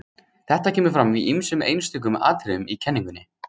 Þetta kemur fram í ýmsum einstökum atriðum í kenningunni.